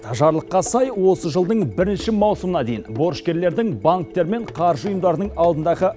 жарлыққа сай осы жылдың бірінші мауысымына дейін борышкерлердің банктер мен қаржы ұйымдарының алдындағы